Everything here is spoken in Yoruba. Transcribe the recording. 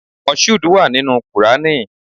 Moshood wà nínú Qùrání.